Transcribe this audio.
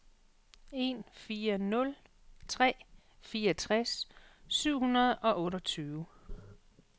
en fire nul tre fireogtres syv hundrede og otteogtyve